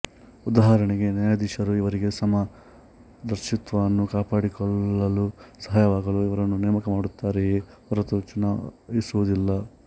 ಉದಾಹರಣೆಗೆ ನ್ಯಾಯಾಧೀಶರು ಇವರಿಗೆ ಸಮ ದರ್ಶಿತ್ವವನ್ನು ಕಾಪಾಡಿಕೊಳ್ಳಲು ಸಹಾಯವಾಗಲು ಇವರನ್ನು ನೇಮಕ ಮಾಡುತ್ತಾರೆಯೆ ಹೊರತು ಚುನಾಯಿಸುವುದಿಲ್ಲ